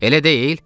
Elə deyil?